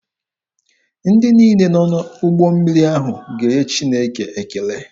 Ndị niile nọ n'ụgbọ mmiri ahụ ga-enye Chineke ekele.